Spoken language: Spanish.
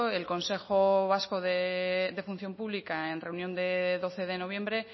el consejo vasco de función pública en reunión de doce de noviembre